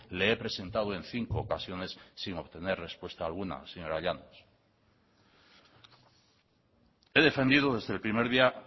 le he presentado en cinco ocasiones sin obtener respuesta alguna señora llanos he defendido desde el primer día